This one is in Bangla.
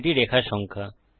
এটি রেখা সংখ্যা